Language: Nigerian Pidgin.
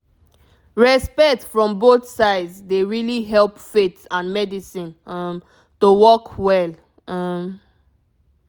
respect from both sides dey really help faith and medicine um to work well um